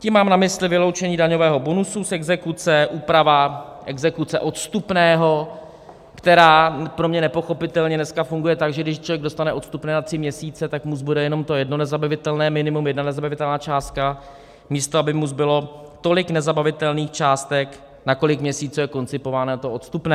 Tím mám na mysli vyloučení daňového bonusu z exekuce, úprava exekuce odstupného, která pro mě nepochopitelně dneska funguje tak, že když člověk dostane odstupné na tři měsíce, tak mu zbude jenom to jedno nezabavitelné minimum, jedna nezabavitelná částka, místo aby mu zbylo tolik nezabavitelných částek, na kolik měsíců je koncipováno to odstupné.